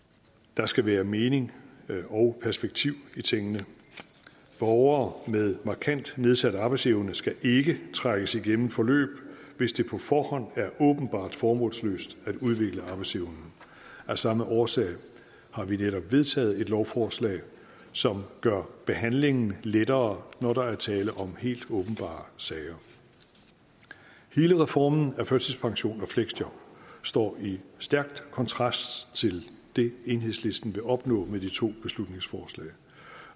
der skal være mening og perspektiv i tingene borgere med markant nedsat arbejdsevne skal ikke trækkes igennem forløb hvis det på forhånd er åbenbart formålsløst at udvikle arbejdsevnen af samme årsag har vi netop vedtaget et lovforslag som gør behandlingen lettere når der er tale om helt åbenbare sager hele reformen af førtidspension og fleksjob står i stærk kontrast til det enhedslisten vil opnå med de to beslutningsforslag